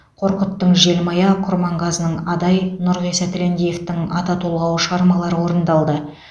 қорқыттың желмая құрманғазының адай нұрғиса тілендиевтің ата толғауы шығармалары орындалды